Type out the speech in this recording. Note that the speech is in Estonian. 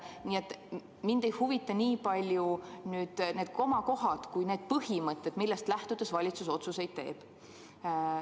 Nii et mind ei huvita niivõrd need komakohad kuivõrd need põhimõtted, millest lähtudes valitsus otsuseid teeb.